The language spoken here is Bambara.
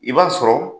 I b'a sɔrɔ